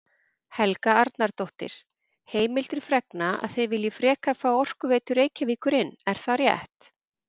Helga Arnardóttir: Heimildir fregna að þið viljið frekar fá Orkuveitu Reykjavíkur inn, er það rétt?